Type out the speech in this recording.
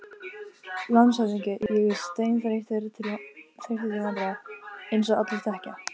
LANDSHÖFÐINGI: Ég er seinþreyttur til vandræða, eins og allir þekkja.